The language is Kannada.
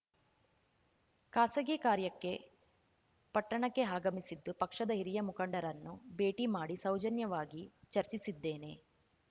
ಖಾಸಗಿ ಕಾರ್ಯಕ್ಕೆ ಪಟ್ಟಣಕ್ಕೆ ಆಗಮಿಸಿದ್ದು ಪಕ್ಷದ ಹಿರಿಯ ಮುಖಂಡರನ್ನು ಭೇಟಿ ಮಾಡಿ ಸೌಜನ್ಯವಾಗಿ ಚರ್ಚಿಸಿದ್ದೇನೆ